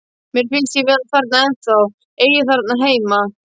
Mér finnst ég vera þarna ennþá, eigi þarna heima.